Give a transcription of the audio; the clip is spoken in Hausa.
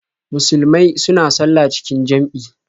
Musulmai suna sallah cikin jam'i.